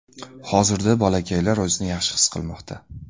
Hozirda bolakaylar o‘zini yaxshi his qilmoqda.